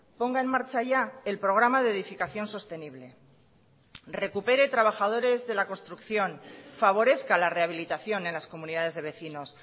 ponga en marcha ya el programa de edificación sostenible recupere trabajadores de la construcción favorezca la rehabilitación en las comunidades de vecinos